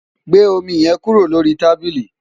gbé omi yẹn kúrò lórí tábílì!